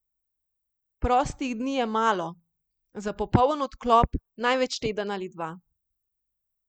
Prostih dni je malo, za popoln odklop največ teden ali dva.